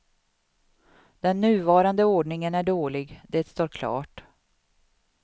Den nuvarande ordningen är dålig, det står klart.